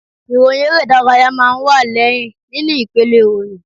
Ìròyìn eré ìdárayá máa ń wá lẹ́yìn nínú ipele ìròyìn